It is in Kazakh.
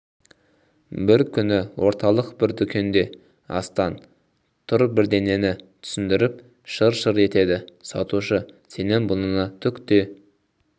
бір күні орталық бір дүкенде астан тұр бірдеңені түсіндіріп шыр-шыр етеді сатушы сенің бұныңа түк те